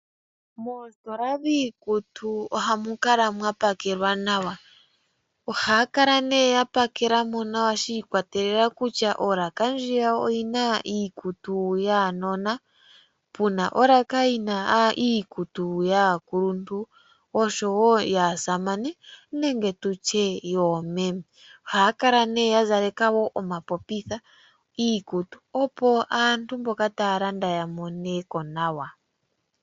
Moositola dhiikutu ohamu kala mwa pakelwa nawa. Ohaa kala nduno ya pakela mo nawa shi ikwatelela kutya olaka ndjiya oyi na iikutu yuunona, pu na olaka yi na iikutu yaakuluntu oshowo yaasamane nenge tu tye yoomememe. Ohaya kala wo ya zaleka omapopitha iikutu, opo aantu mboka taya landa ya moneko nawa.